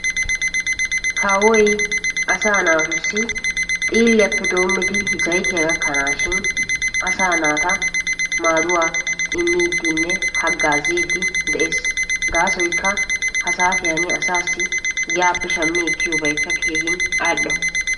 Kawoy asaa naatussi xiilliyannw zayttiya hagazzidde de'ees gaasoykka ha'i wodiyan shammiyoobay keehippe al'o.